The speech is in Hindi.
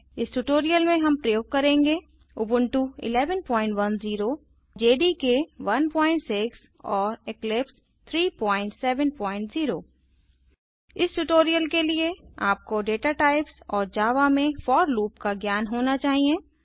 इस ट्यूटोरियल में हम प्रयोग करेंगे उबुंटू 1110 जेडीके 16 एंड इक्लिप्स 370 इस ट्यूटोरियल के लिए आपको दाता टाइप्स और जावा में फोर लूप का ज्ञान होना चाहिए